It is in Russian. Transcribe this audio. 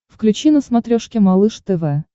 включи на смотрешке малыш тв